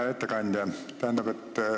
Hea ettekandja!